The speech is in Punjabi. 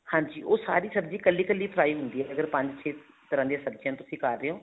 ਹਾਂਜੀ ਉਹ ਸਾਰੀ ਸਬਜੀ ਇੱਕਲੀ ਇੱਕਲੀ fry ਹੁੰਦੀ ਹੈ ਇਹਦੇ ਚ ਪੰਜ ਛੇ ਤਰ੍ਹਾਂ ਦੀਆਂ ਸਬਜੀਆਂ ਤੁਸੀਂ ਕਰ ਰਹੇ ਹੋ